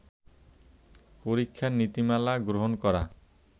পরীক্ষার নীতিমালা গ্রহণ করা